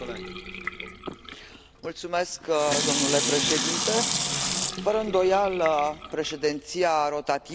Domnule președinte, fără îndoială, președinția rotativă va fi o președinție provocatoare.